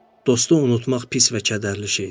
Dostu unutmaq pis və kədərli şeydir.